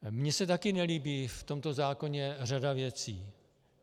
Mně se taky nelíbí v tomto zákoně řada věcí.